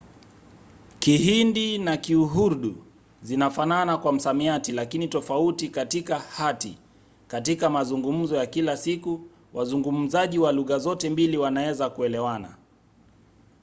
kihindi na kiurdu zinafanana kwa msamiati lakini tofauti katika hati; katika mazungumzo ya kila siku wazungumzaji wa lugha zote mbili wanaweza kuelewana